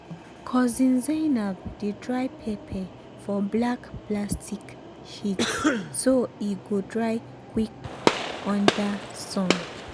cousin zainab dey dry pepper for black plastic sheets so e go dry quick under sun.